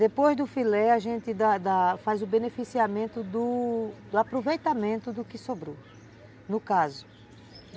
Depois do filé, a gente da da faz o beneficiamento do aproveitamento do que sobrou, no caso.